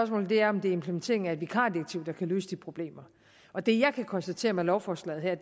er om det er implementeringen af et vikardirektiv der kan løse de problemer og det jeg kan konstatere med lovforslaget her